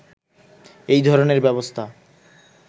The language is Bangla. এই ধরনের ব্যবস্থা